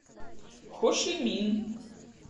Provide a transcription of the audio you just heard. хошимин